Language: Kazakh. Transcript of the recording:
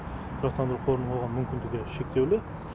тұрақтандыру қорының оған мүмкіндігі шектеулі